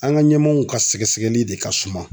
An ga ɲɛmaaw ka sɛgɛsɛgɛli de ka suma